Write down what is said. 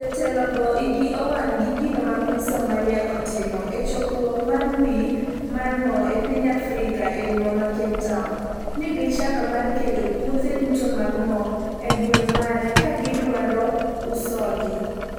Jotelo go igi owang' gi gino ma piny Somalia otimo e chokruok mar wik mar mo e piny Afrika e boma ma Cape Town ni gichano mar keto puothe duto mag mo e gweng mare ka gidwaro usogi